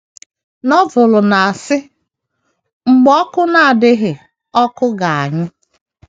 Novel na -asi“ mgbe oku na - adịghị ọkụ ga - anyụ. ”